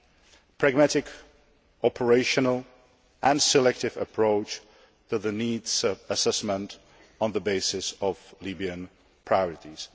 a pragmatic, operational and selective approach to the needs assessment on the basis of Libyan priorities.